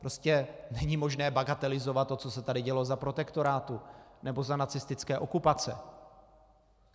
Prostě není možné bagatelizovat to, co se tady dělo za protektorátu nebo za nacistické okupace.